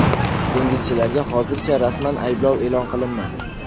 Dengizchilarga hozircha rasman ayblov e’lon qilinmadi.